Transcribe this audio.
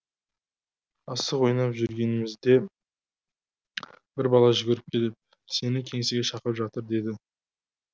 асық ойнап жүргенімізде бір бала жүгіріп келіп сені кеңсеге шақырып жатыр деді